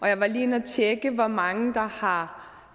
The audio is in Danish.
jeg var lige inde at tjekke hvor mange der har